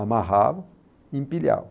amarrava e empilhava.